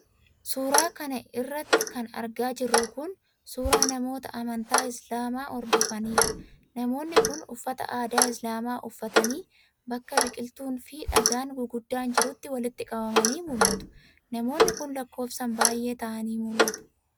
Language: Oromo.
Suura kana irratti kan argaa jirru kun, suura namoota amantaa islaamaa hordofaniidha. Namoonni kun uffata aadaa islaamaa uffatanii bakka biqiltuun fi dhagaan guguddaan jirutti walitti qabamanii mul'atu. Namoonni kun lakkoofsaan baay'ee ta'anii mul'atu.